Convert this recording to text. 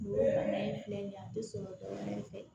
O bana in filɛ nin ye a te sɔrɔ dɔɔnin fɛ